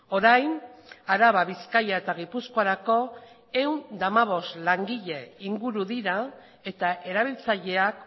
orain araba bizkaia eta gipuzkoarako ehun eta hamabost langile inguru dira eta erabiltzaileak